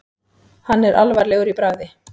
Hann er alvarlegur í bragði.